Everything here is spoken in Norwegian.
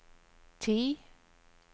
ti